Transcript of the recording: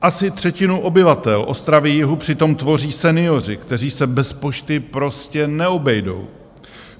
Asi třetinu obyvatel Ostravy-Jihu přitom tvoří senioři, kteří se bez pošty prostě neobejdou.